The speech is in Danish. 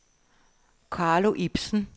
Carlo Ibsen